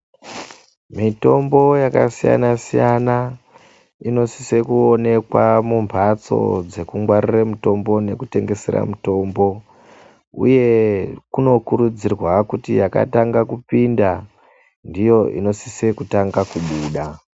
Mitombo yakasiyana inosise nekuonekwa mumhatso dzekungwaarire mitombo inotengeserwa mitombo. Uye kuno kurudzirwa kuti yakatanga kupinda nditi inosise kunge iriyo inotange kubuda.